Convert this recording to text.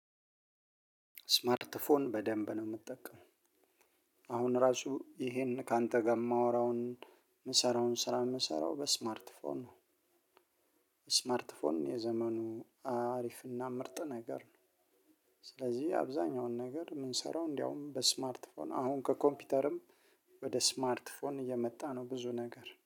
ስማርት ፎን በደንብ ነው የምትጠቀመው። አሁን እራሱ ይሄን ካንተ ጋር የማወራውን የምሰራውን ስራ የምሰራው በስማርት ፎን ነው። ስማርት ፎን የዘመኑ አሪፍና ምርጥ ነገር ነው። ስለዚህ አብዛኛውን ነገር የምንሰራው እንደውም በስማርት ፎን አሁን ከኮምፒውተርም ወደ ስማርት ፎን እየመጣ ነው ብዙ ነገር።